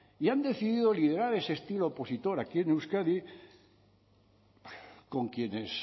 y han decidido liderar ese estilo opositor aquí en euskadi con quienes